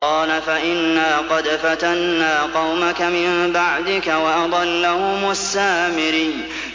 قَالَ فَإِنَّا قَدْ فَتَنَّا قَوْمَكَ مِن بَعْدِكَ وَأَضَلَّهُمُ السَّامِرِيُّ